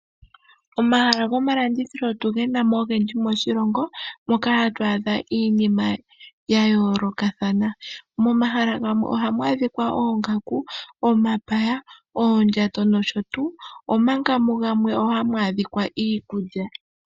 Omahala gomalandithilo otu gana mo ogendji moshilongo moka hatu adha iinima ya yoolokathana. Momahala gamwe ohamu adhika oongaku, omapaya, oondjato nosho tuu, omanga mugamwe hamu adhika iikulya.